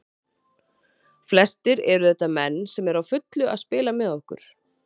Flestir eru þetta menn sem eru á fullu að spila með okkur.